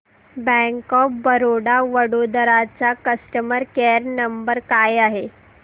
bank of Baroda Vadodara चा customer care number काय आहे